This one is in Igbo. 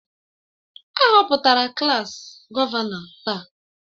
A họpụtara klaas gọvanọ taa